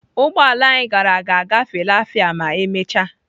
Ụgbọ ala anyị gara ga-agafe lafia ma emechaa.